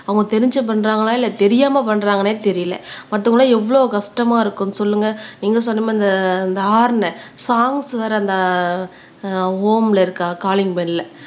அவங்க தெரிஞ்சு பண்றாங்களா இல்ல தெரியாம பண்றாங்களான்னே தெரியலே மத்தவங்க எல்லாம் எவ்வளவு கஷ்டமா இருக்கும் சொல்லுங்க நீங்க சொன்ன மாதிரி இந்த இந்த ஹாரன் சாங்ஸ் வேற அந்த ஆஹ் ஹோம்ல இருக்க காலிங் பெல்ல